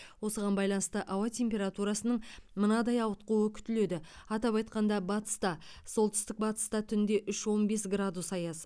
осыған байланысты ауа температурасының мынадай ауытқуы күтіледі атап айтқанда батыста солтүстік батыста түнде үш он бес градус аяз